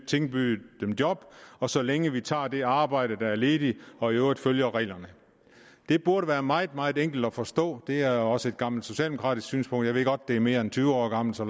tilbyde dem job og så længe de tager det arbejde der er ledigt og i øvrigt følger reglerne det burde være meget meget enkelt at forstå det er også et gammelt socialdemokratisk synspunkt jeg ved godt at det er mere end tyve år gammelt så